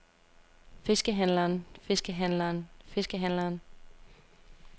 fiskehandleren fiskehandleren fiskehandleren